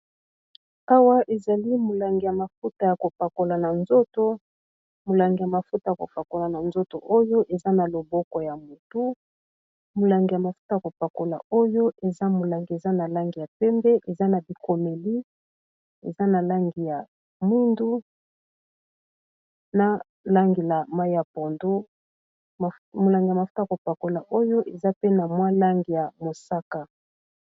awa ezali molangi ya mafuta ya kopakola na nzoto oyo eza na loboko ya motu molangi ya mafuta ya kopakola oyo eza molangi eza na langi ya pembe eza na bikomeli eza na langi ya mundu na langi ya mai ya pondo molangi ya mafuta ya kopakola oyo eza pena mwa lange ya mosaka